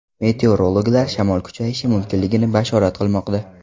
Meteorologlar shamol kuchayishi mumkinligini bashorat qilmoqda.